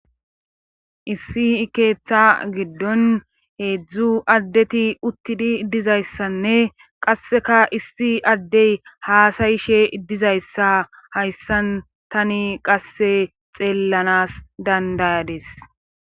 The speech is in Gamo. issi keeththa giddon heedzdzu addeti uttidi dizayssanne qasseka issi addey haasayishe dizayssa hayssan tani qasse xeellanas dandayadis